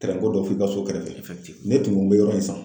ko dɔ b'i ka so kɛrɛfɛ, ne kun mi yɔrɔ in san